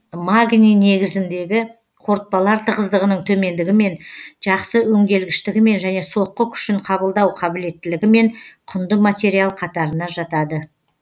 магний негізіндегі қорытпалар тығыздығының төмендігімен жақсы өңделгіштігімен және соққы күшін қабылдау қабілеттілігімен құнды материал қатарына жатады